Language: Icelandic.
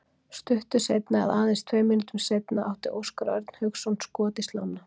Stuttu seinna eða aðeins tveim mínútum seinna átti Óskar Örn Hauksson skot í slánna.